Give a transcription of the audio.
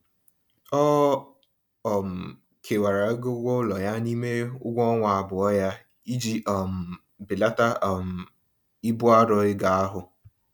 Ọ um kewara ego ụgwọụlọ ya n'ime ụgwọọnwa abụọ ya iji um belata um ibu arọ ego ahụ.